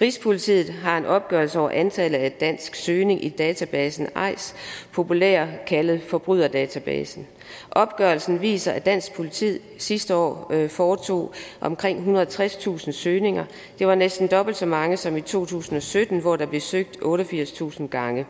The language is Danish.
rigspolitiet har en opgørelse over antallet af danske søgninger i databasen eis populært kaldet forbryderdatabasen opgørelsen viser at dansk politi sidste år foretog omkring ethundrede og tredstusind søgninger det var næsten dobbelt så mange som i to tusind og sytten hvor der blev søgt otteogfirstusind gange